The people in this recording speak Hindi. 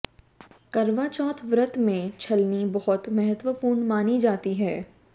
करवाचौथ व्रत में छलनी बहुत महत्वपूर्ण मानी जाती है